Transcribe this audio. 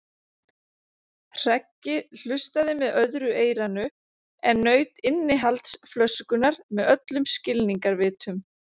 Hreggi hlustaði með öðru eyranu en naut innihalds flöskunnar með öllum skilningarvitum.